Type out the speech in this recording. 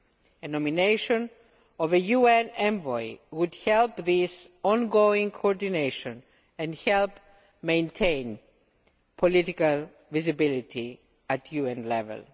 The nomination of a UN envoy would help this ongoing coordination and help maintain political visibility at UN level.